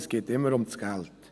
Es geht immer um das Geld.